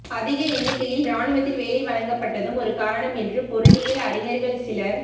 அதிக எண்ணிக்கையில் இராணுவத்தில் வேலை வழங்கப்பட்டதும் ஒரு காரணம் என்று பொருளியல் அறிஞர்கள் சிலர்